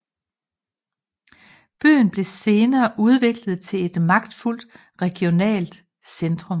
Byen blev senere udviklet til et magtfuldt regionalt centrum